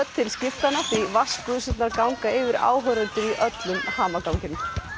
til skiptanna því ganga yfir áhorfendur í öllum hamaganginum